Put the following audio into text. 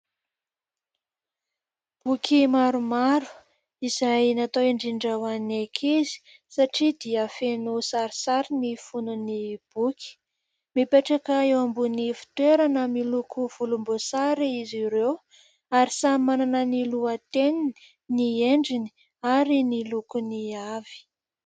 Boky maromaro izay natao indrindra ho an'ny ankizy satria dia feno sarisary ny fonony boky. Mipetraka eo ambony fitoerana miloko volomboasary izy ireo ary samy manana ny lohateniny, ny endriny ary ny lokony avy.